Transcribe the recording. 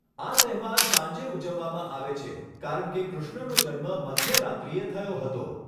આ તહેવાર સાંજે ઉજવવામાં આવે છે કારણ કે કૃષ્ણનો જન્મ મધ્યરાત્રિએ થયો હતો.